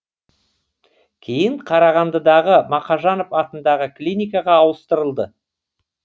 кейін қарағандыдағы мақажанов атындағы клиникаға ауыстырылды